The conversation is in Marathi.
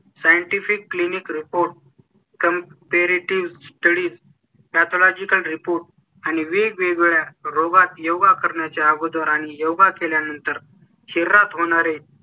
Scientific Clinic Reports Paid Study त्यात लॉजिकल Report आणि वेगवेगळ्या रोगात योगा करण्याच्या अगोदर आणि योगा केल्यानंतर शहरात होणार आहे.